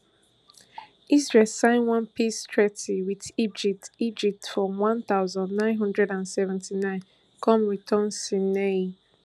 israel sign one peace treaty wit egypt egypt for one thousand, nine hundred and seventy-nine come return sinai